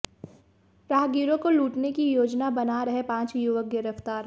राहगीरों को लूटने की योजना बना रहे पांच युवक गिरफ्तार